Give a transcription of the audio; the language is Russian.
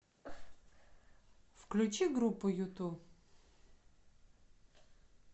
включи группу юту